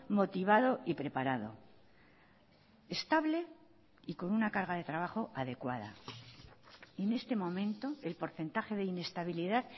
motivado y preparado estable y con una carga de trabajo adecuada en este momento el porcentaje de inestabilidad